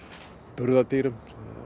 burðardýrum